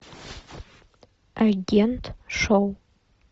агент шоу